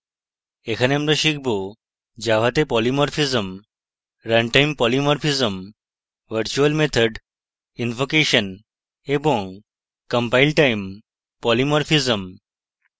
এখানে আমরা শিখব: